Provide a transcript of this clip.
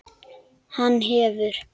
Hann hefur.